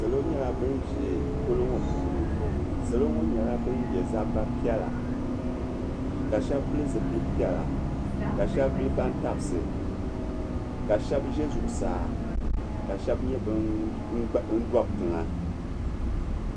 Salo nyɛla ban be polo ŋɔ puuni salo ŋɔ nyɛla ban ye zaba piɛla ka shɛba pili zipili piɛla ka shɛba vuli bantabisi ka shɛba ʒe zuɣusaa ka shɛba nyɛ ban dobi tiŋa.